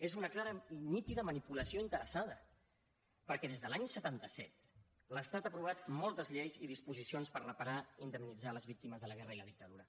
és una clara i nítida manipulació interessada perquè des de l’any setanta set l’estat ha aprovat moltes lleis i disposicions per reparar i indemnitzar les víctimes de la guerra i la dictadura